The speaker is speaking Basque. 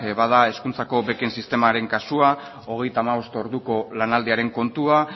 bada hezkuntzako beken sistemaren kasua hogeita hamabost orduko lanaldiaren kontua